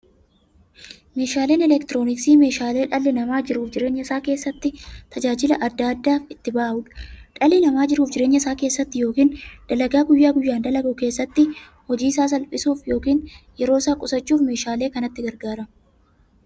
Meeshaaleen elektirooniksii meeshaalee dhalli namaa jiruuf jireenya isaa keessatti, tajaajila adda addaa itti bahuudha. Dhalli namaa jiruuf jireenya isaa keessatti yookiin dalagaa guyyaa guyyaan dalagu keessatti, hojii isaa salphissuuf yookiin yeroo isaa qusachuuf meeshaalee kanatti gargaarama.